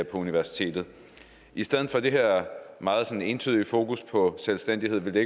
på universitetet i stedet for det her meget ensidige fokus på selvstændighed ville det